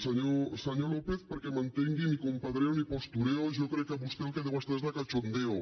senyor lópez perquè m’entenguin ni compadreo ni postureo jo crec que vostè el que deu estar és de cachondeo